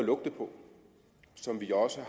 på som vi også